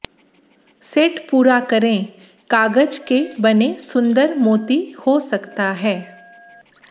set पूरा करें कागज के बने सुंदर मोती हो सकता है